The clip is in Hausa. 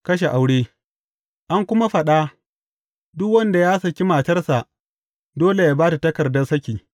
Kashen aure An kuma faɗa, Duk wanda ya saki matarsa, dole yă ba ta takardar saki.’